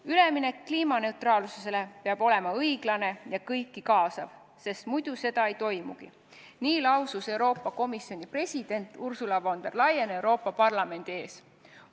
"Üleminek kliimaneutraalsusele peab olema õiglane ja kõiki kaasav, sest muidu seda ei toimugi," lausus Euroopa Komisjoni president Ursula von der Leyen Euroopa Parlamendi ees.